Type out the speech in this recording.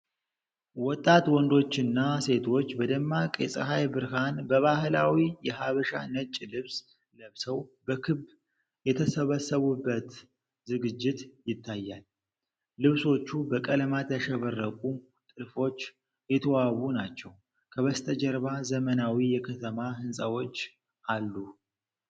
ወጣት ወንዶችና ሴቶች በደማቅ የፀሐይ ብርሃን በባህላዊ የሐበሻ ነጭ ልብስ ለብሰው በክብ የተሰበሰቡበት ዝግጅት ይታያል። ልብሶቹ በቀለማት ያሸበረቁ ጥልፎች የተዋቡ ናቸው። ከበስተጀርባ ዘመናዊ የከተማ ህንጻዎች አሉ።